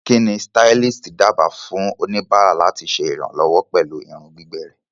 Kí ni stylist dábàá fún oníbàárà láti ṣe ìrànlọ́wọ́ pẹ̀lú irun gbígbẹ rẹ̀?